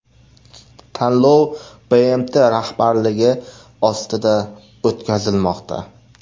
Tanlov BMT rahbarligi ostida o‘tkazilmoqda.